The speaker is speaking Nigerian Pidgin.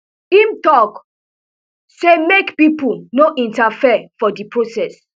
im tok say make pipo no interfere for di process